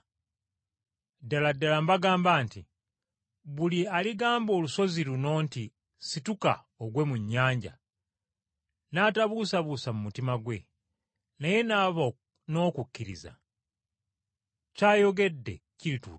Ddala ddala mbagamba nti buli aligamba olusozi luno nti, ‘Siguka ogwe mu nnyanja,’ n’atabuusabuusa mu mutima gwe, naye n’aba n’okukkiriza, ky’ayogedde kirituukirira.